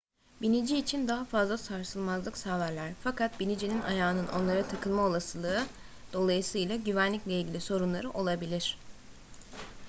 binici için daha fazla sarsılmazlık sağlarlar fakat binicinin ayağının onlara takılma olasılığı dolayısıyla güvenlikle ilgili sorunları olabilir